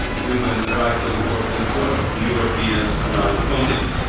human right, which is so important for Europeans on our continent.